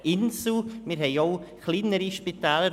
Wir haben auch kleinere Spitäler.